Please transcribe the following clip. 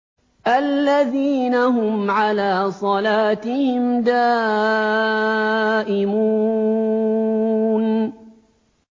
الَّذِينَ هُمْ عَلَىٰ صَلَاتِهِمْ دَائِمُونَ